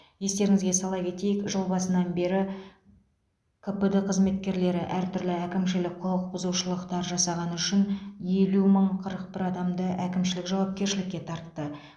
естеріңізге сала кетейік жыл басынан бері кпд қызметкерлері әртүрлі әкімшілік құқық бұзушылықтар жасағаны үшін елу мың қырық бір адамды әкімшілік жауапкершілікке тартты